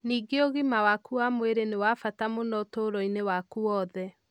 Ningĩ ũgima waku wa mwĩrĩ nĩ wa bata mũno ũtũũro-inĩ waku wothe.